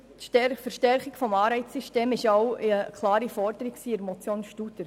Die Verstärkung des Anreizsystems war denn auch eine klare Forderung der Motion Studer.